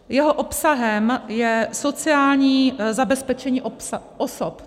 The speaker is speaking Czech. Jeho obsahem je sociální zabezpečení osob.